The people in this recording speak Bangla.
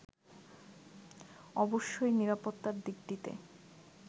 অবশ্যই নিরাপত্তার দিকটিতে